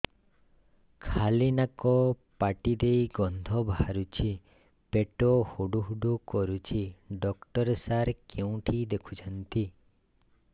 ଖାଲି ନାକ ପାଟି ଦେଇ ଗଂଧ ବାହାରୁଛି ପେଟ ହୁଡ଼ୁ ହୁଡ଼ୁ କରୁଛି ଡକ୍ଟର ସାର କେଉଁଠି ଦେଖୁଛନ୍ତ